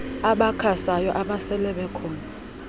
abakhasayo nabasele bekhona